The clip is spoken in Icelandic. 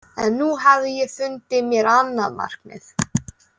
En nú hafði ég fundið mér annað markmið.